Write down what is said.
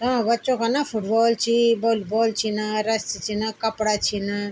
तों बच्चो का ना फुटबॉल छी वॉलीबॉल छिन रस्सी छिन कपड़ा छिन ।